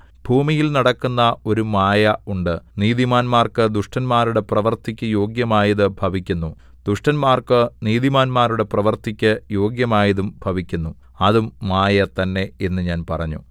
ഭൂമിയിൽ നടക്കുന്ന ഒരു മായ ഉണ്ട് നീതിമാന്മാർക്ക് ദുഷ്ടന്മാരുടെ പ്രവൃത്തിക്കു യോഗ്യമായതു ഭവിക്കുന്നു ദുഷ്ടന്മാർക്കു നീതിമാന്മാരുടെ പ്രവൃത്തിക്കു യോഗ്യമായതും ഭവിക്കുന്നു അതും മായ തന്നെ എന്നു ഞാൻ പറഞ്ഞു